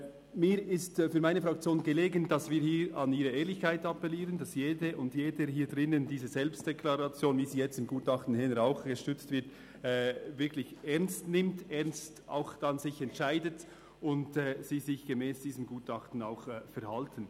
Mir ist für meine Fraktion daran gelegen, hier an Ihre Ehrlichkeit zu appellieren, damit jede und jeder hier drinnen diese Selbstdeklaration, wie sie jetzt im Gutachten eben auch unterstützt wird, wirklich ernst nimmt, sich dann auch ernsthaft entscheidet, und Sie sich diesem Gutachten entsprechend auch verhalten.